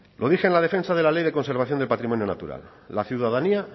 lo dije en la defensa de la ley de conservación del patrimonio natural la ciudadanía